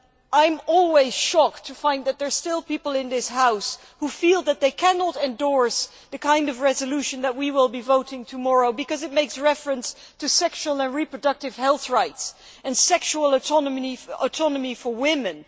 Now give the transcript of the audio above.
I am always shocked to find that there are still people in this House who feel that they cannot endorse the kind of resolution that we will be voting tomorrow because it makes reference to sexual and reproductive health rights and sexual autonomy for women.